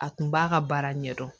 A tun b'a ka baara ɲɛdɔn